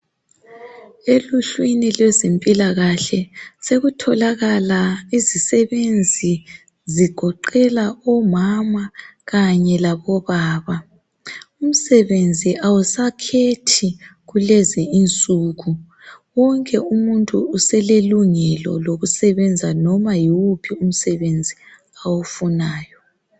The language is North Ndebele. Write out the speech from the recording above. Eluhlwini lwezempilkahle sekutholakala izisebenzi zigoqela omama kanye labo baba. Umsebenzi awusakhethi kulezi insuku, wonke umuntu uselelungelo lokusebenza nomà yiwuphi umsebenzi awufunayo.